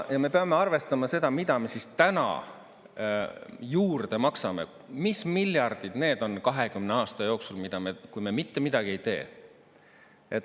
Ja me peame arvestama seda, mida me siis täna juurde maksame, mis miljardid need on 20 aasta jooksul, kui me mitte midagi ei tee?